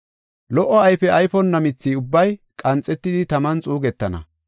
Lo77o ayfe ayfonna mithi ubbay qanxetidi taman xuugetana.